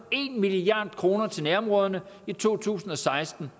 en milliard kroner til nærområderne i to tusind og seksten